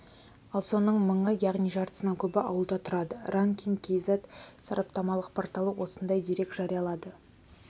ал соның мыңы яғни жартысынан көбі ауылда тұрады ранкинг кз сараптамалық порталы осындай дерек жариялады